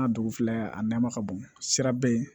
N ka dugu filɛ a nama ka bon sira beyi